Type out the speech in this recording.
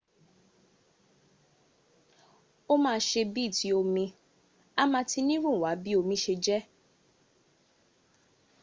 o ma se bii ti omi a ma tinirunwa bi omi se je